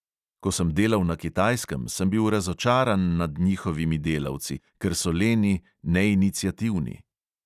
Ko sem delal na kitajskem, sem bil razočaran nad njihovimi delavci, ker so leni, neiniciativni ...